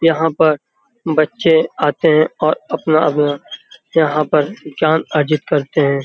यहाँ पर बच्चे आते हैं और अपना-अपना यहाँ पर जान अर्जित करते हैं।